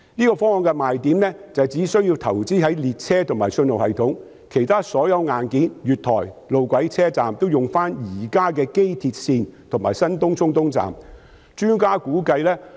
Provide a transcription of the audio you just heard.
這方案的賣點是，只須投資在列車及信號系統，而其他所有硬件，例如月台、路軌及車站，皆可以使用機鐵線及新東涌東站現有的。